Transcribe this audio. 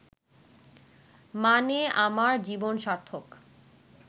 মানে আমার জীবন সার্থক